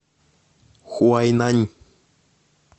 хуайнань